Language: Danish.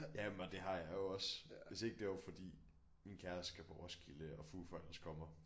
Jamen og det har jeg jo også hvis ikke det var fordi min kæreste skal på Roskilde og Foo Fighters kommer